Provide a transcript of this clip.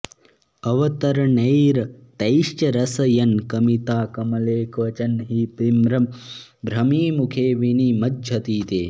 अवतरणैरतैश्च रसयन् कमिता कमले क्वचन हि विभ्रमभ्रमिमुखे विनिमज्जति ते